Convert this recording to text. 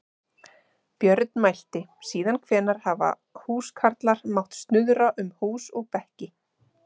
Björn mælti: Síðan hvenær hafa húskarlar mátt snuðra um hús og bekki.